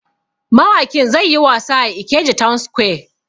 Mawakin zai yi wasa a Ikeja town square.